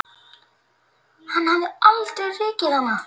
Hann hefði aldrei rekið hana.